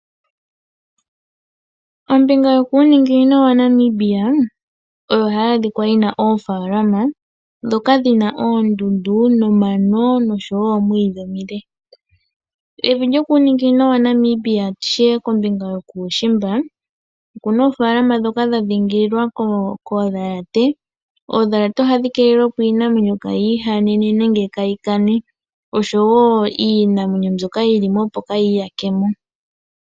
Ombinga yokuuninginino waNamibia oyo hayi adhika yi na oofaalama ndhoka dhi na oondundu nomano noshowo omwiidhi omule. Evi lyokuuninginino waNamibia ndi tye kombinga yokuushimba, oku na oofaalama ndhoka dha dhiingilwa koondhalate. Oondhalate ohadhi keelele iinamwenyo, opo kayi ihane nenge kayi kane oshowo iinamwenyo mbyoka yili mo kayi iyake mo.